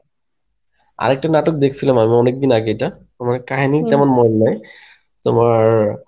আরেকটা নাটক দেখসিলাম আমি অনেকদিন আগে এটা তবে কাহিনী তেমন মনে নাই তোমার